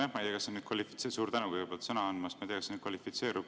Nojah, ma ei tea, kas see nüüd kvalifitseerub – suur tänu kõigepealt sõna andmast!